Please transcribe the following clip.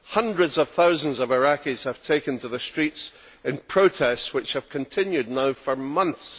Hundreds of thousands of Iraqis have taken to the streets in protests which have continued now for months.